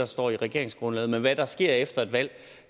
står i regeringsgrundlaget men hvad der sker efter et valg